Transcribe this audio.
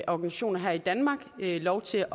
organisationer her i danmark lov til